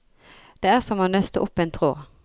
Det er som å nøste opp en tråd.